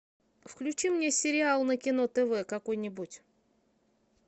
включи мне сериал на кино тв какой нибудь